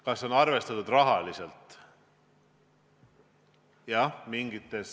Kas on arvestatud rahaliselt?